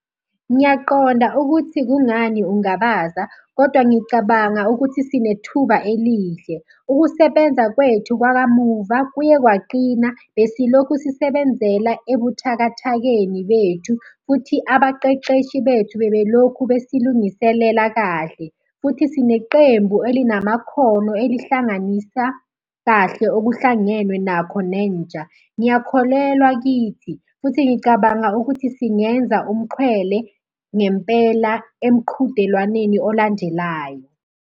Ngiyaqonda ukuthi kungani ungabaza kodwa ngicabanga ukuthi sinethuba elihle. Ukusebenza kwethu kwakamuva kuye kwaqina, besilokhu sisebenzela ebuthakathakeni bethu, futhi abaqeqeshi bethu bebelokhu besilungiselela kahle, futhi sineqembu elinamakhono elihlanganisa kahle okuhlangenwe nakho nentsha. Ngiyakholelwa kithi, futhi ngicabanga ukuthi singenza umxhwele ngempela emqhudelwaneni olandelayo.